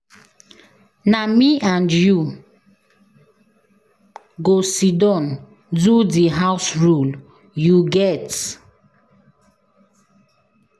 Na me and you go siddon do di house rule, you get?